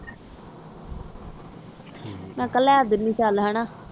ਮੈਂ ਕਿਹਾ ਲੈ ਦੇਣੀਆਂ ਚਲ ਹਨ